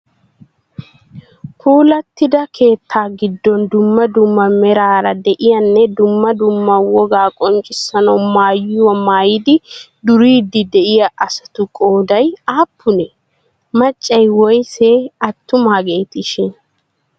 Puulattida keettaa giddon dumma dumma meraara de'iyanme dumma dumma wogaa qonccissiya maayuwa maayidi duriiddi de'iya asatu. qooday aappunee? Maccay woysee? Attumaageetishin?